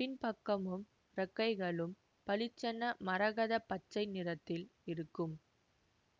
பின்பக்கமும் இறக்கைகளும் பளிச்சென மரகத பச்சை நிறத்தில் இருக்கும்